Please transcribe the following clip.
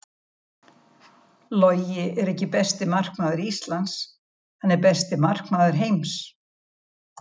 Logi er ekki besti markmaður Íslands, hann er besti markmaður heims.